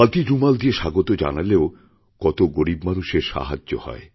খাদির রুমাল দিয়ে স্বাগত জানালেও কত গরীব মানুষের সাহায্য হয়